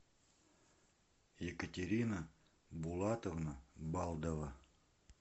екатерина булатовна балдова